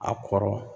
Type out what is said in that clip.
A kɔrɔ